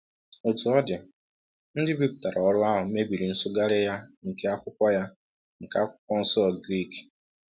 Otú ọ dị, ndị bipụtara ọrụ ahụ mebiri nsụgharị ya nke Akwụkwọ ya nke Akwụkwọ Nsọ Grik.